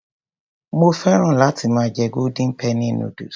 Mo féràn láti máa jẹ golden penny noodles.